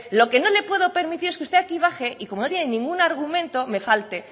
lo que no le puedo permitir es que usted aquí baje y como no tiene ningún argumento me falte